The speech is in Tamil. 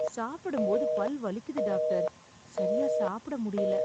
சாப்பிடும்போது பல் வலிக்குது டாக்டர், சரியா சாப்பிட முடியல.